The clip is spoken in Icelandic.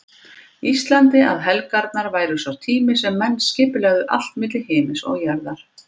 Íslandi að helgarnar væru sá tími sem menn skipulegðu allt milli himins og jarðar.